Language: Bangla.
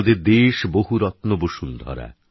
আমাদের দেশ বহুরত্নবসুন্ধরা